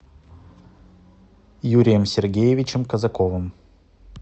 юрием сергеевичем казаковым